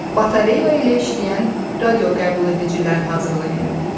Batareya ilə işləyən radioqəbuledicilər hazırlayın.